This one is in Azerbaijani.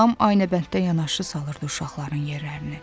Anam aynabənddə yanaşı salırdı uşaqların yerlərini.